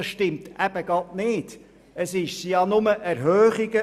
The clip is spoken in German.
Doch das stimmt eben gerade nicht, denn es ist nur möglich, den Steuersatz zu erhöhen.